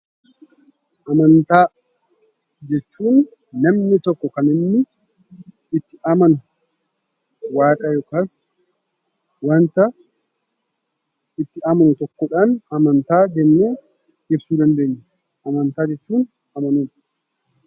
Amantaa jechuun namni tokko kan inni itti amanu waaqa yookaas waanta itti amanu tokkodhaan amantaa jennee ibsuu dandeenya. Amantaa jechuun amanuu jechuudha.